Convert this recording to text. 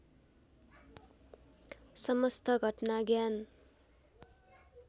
समस्त घटना ज्ञान